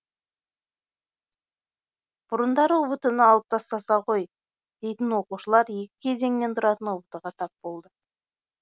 бұрындары ұбт ны алып тастаса ғой дейтін оқушылар екі кезеңнен тұратын ұбт ға тап болды